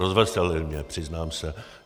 Rozveselili mě, přiznám se.